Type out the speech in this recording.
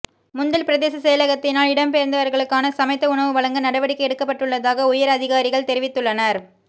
முந்தல் பிரதேச செயலகத்தினால் இடம்பெயர்ந்தவர்களுக்கான சமைத்த உணவு வழங்க நடவடிக்கை எடுக்கப்பட்டுள்ளதாக உயர் அதிகாரிகள் தெரிவித்துள்ளனர்